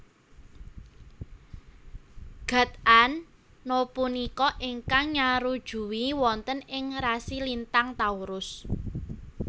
Gud An na punika ingkang nyarujui wonten ing rasi lintang Taurus